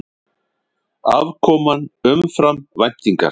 Afkoman umfram væntingar